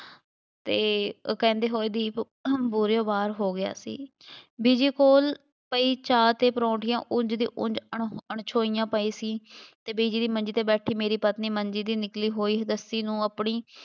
ਅਤੇ ਉਹ ਕਹਿੰਦੇ ਹੋਏ ਦੀਪ ਬੂਹਿਓਂ ਬਾਹਰ ਹੋ ਗਿਆ ਸੀ, ਬੀਜੀ ਕੋਲ ਪਈ ਚਾਹ ਅਤੇ ਪਰਾਉਂਠੀਆਂ ਉਂਝ ਦੀ ਉਂਝ ਅਣ~ ਅਣਛੋਹੀਆਂ ਪਈ ਸੀ ਅਤੇ ਬੀਜੀ ਦੀ ਮੰਜੀ 'ਤੇ ਬੈਠੀ ਮੇਰੀ ਪਤਨੀ ਮੰਜੀ ਦੀ ਨਿਕਲੀ ਹੋਈ ਰੱਸੀ ਨੂੰ ਆਪਣੀ